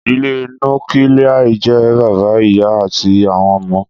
Ìdílé Núkilia jẹ́ bàbá, ìyá àti àwọn ọmọ